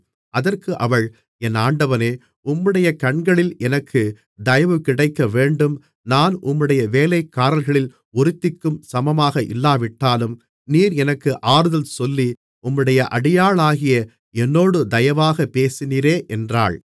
அதற்கு அவள் என் ஆண்டவனே உம்முடைய கண்களில் எனக்குத் தயவு கிடைக்கவேண்டும் நான் உம்முடைய வேலைக்காரிகளில் ஒருத்திக்கும் சமமாக இல்லாவிட்டாலும் நீர் எனக்கு ஆறுதல் சொல்லி உம்முடைய அடியாளாகிய என்னோடு தயவாகப் பேசினீரே என்றாள்